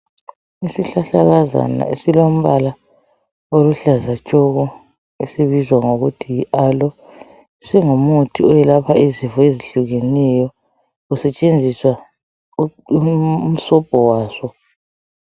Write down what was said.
Isihlahlakazana esilombala oluhlaza tshoko esibizwa ngokuthi yi alo singumuthi oyelapha izifo ezihlukeneyo kusetshenziswa umsobho waso.